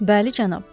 Bəli, cənab.